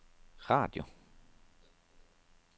radio